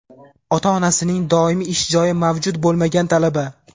Ota-onasining doimiy ish joyi mavjud bo‘lmagan talaba;.